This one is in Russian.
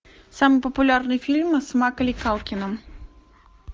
самый популярный фильм с маколей калкиным